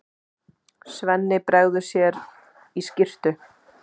Svenni bregður sér í skyrtu.